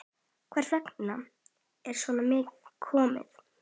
Hvers vegna er svona komið?